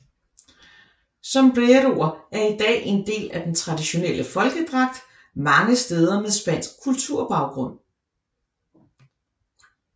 Sombreroer er i dag en del af den traditionelle folkedragt mange steder med spansk kulturbaggrunn